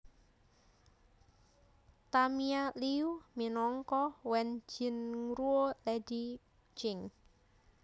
Tamia Liu minangka Wen Jingruo Lady Jing